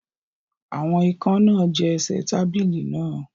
Àwọn ikán náà jẹ ẹsẹ̀ tábìlì náà